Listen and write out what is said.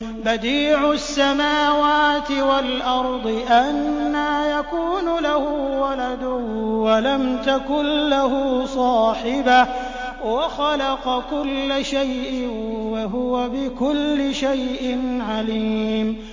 بَدِيعُ السَّمَاوَاتِ وَالْأَرْضِ ۖ أَنَّىٰ يَكُونُ لَهُ وَلَدٌ وَلَمْ تَكُن لَّهُ صَاحِبَةٌ ۖ وَخَلَقَ كُلَّ شَيْءٍ ۖ وَهُوَ بِكُلِّ شَيْءٍ عَلِيمٌ